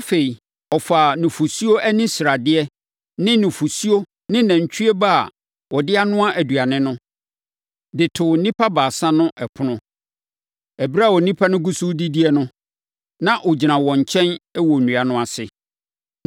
Afei, ɔfaa nufosuo ani sradeɛ ne nufosuo ne nantwie ba a ɔde anoa aduane no, de too nnipa baasa no ɛpono. Ɛberɛ a nnipa no gu so redidie no, na ɔgyina wɔn nkyɛn wɔ nnua no ase.